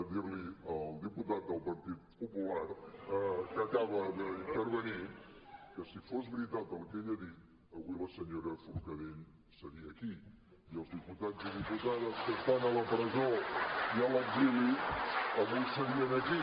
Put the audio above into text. dir al diputat del partit popular que acaba d’intervenir que si fos veritat el que ell ha dit avui la senyora forcadell seria aquí i els diputats i diputades que estan a la presó i a l’exili avui serien aquí